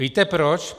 Víte proč?